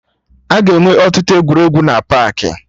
Aga enwe ọtụtụ egwuregwu na paakị